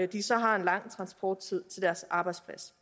de så har en lang transporttid til deres arbejdsplads